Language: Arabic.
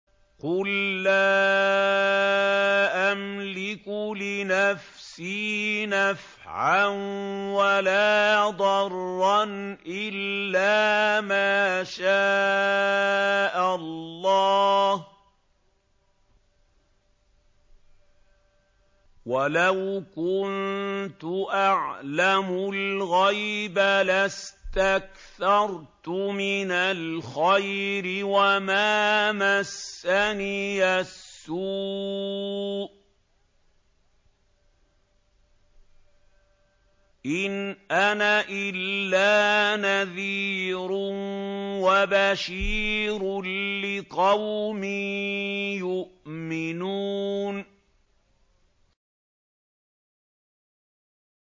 قُل لَّا أَمْلِكُ لِنَفْسِي نَفْعًا وَلَا ضَرًّا إِلَّا مَا شَاءَ اللَّهُ ۚ وَلَوْ كُنتُ أَعْلَمُ الْغَيْبَ لَاسْتَكْثَرْتُ مِنَ الْخَيْرِ وَمَا مَسَّنِيَ السُّوءُ ۚ إِنْ أَنَا إِلَّا نَذِيرٌ وَبَشِيرٌ لِّقَوْمٍ يُؤْمِنُونَ